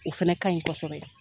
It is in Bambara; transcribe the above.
O fana kaɲi kosɛbɛ.